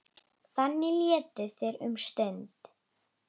Þannig létu þeir um stund.